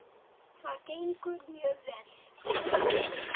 En það gengur mjög vel.